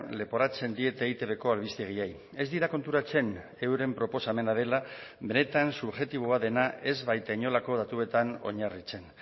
leporatzen diete eitbko albistegiei ez dira konturatzen euren proposamena dela benetan subjektiboa dena ez baita inolako datuetan oinarritzen